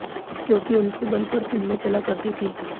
क्योंकि उनके बल पर फिल्में चला करती थीं